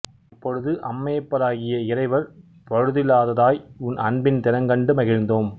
அப்பொழுது அம்மையப்பராகிய இறைவர் பழுதிலாததாய் உன் அன்பின் திறங்கண்டு மகிழ்ந்தோம்